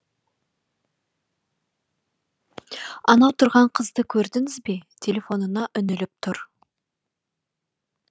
анау тұрған қызды көрдіңіз бе телефонына үңіліп тұр